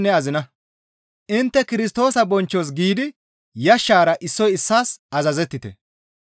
Intte Kirstoosa bonchchos giidi yashshara issoy issaas azazettite.